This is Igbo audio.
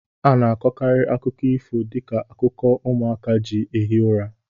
A na-akọkarị akụkọ ifo dị ka akụkọ ụmụaka ji ehi ụra